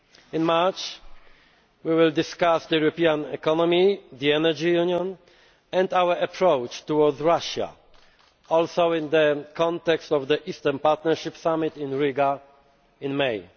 In March, we will discuss the European economy, the energy union and our approach to Russia, including in the context of the Eastern Partnership Summit in Riga in